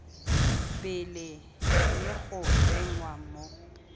pele le go tsenngwa mo